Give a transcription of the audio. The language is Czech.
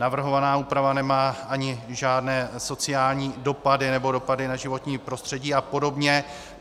Navrhovaná úprava nemá ani žádné sociální dopady nebo dopady na životní prostředí a podobně.